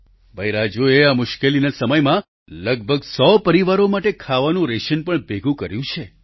ભાઈ રાજૂએ આ મુશ્કેલીના સમયમાં લગભગ 100 પરિવારો માટે ખાવાનું રેશન પણ ભેગું કર્યું છે